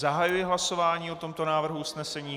Zahajuji hlasování o tomto návrhu usnesení.